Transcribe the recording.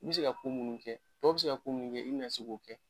N mi se ka ko munnu kɛ tɔw bi ka ko munnu kɛ, i bina se k'o kɛ